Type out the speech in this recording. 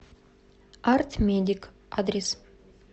арт медик адрес